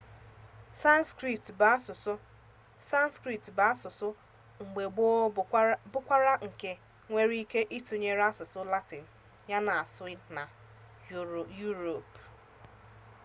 sanskrit bụ asụsụ mgbe gboo bụrụkwa nke enwere ike ịtụnyere asụsụ latịn a na asụ na yuropu